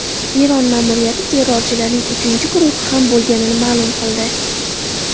Eron ma’muriyati terrorchilarning uchinchi guruhi ham bo‘lganini ma’lum qildi.